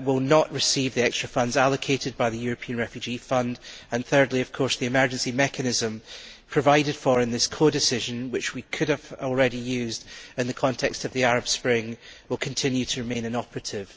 will not receive the extra funds allocated by the European Refugee Fund and thirdly, of course, the emergency mechanism provided for in this codecision, which we could have used in the context of the Arab Spring, will continue to remain inoperative.